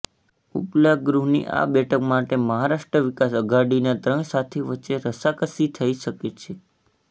ઉપલા ગૃહની આ બેઠક માટે મહારાષ્ટ્ર વિકાસ અઘાડીના ત્રણ સાથી વચ્ચે રસાકસી થઈ શકે છે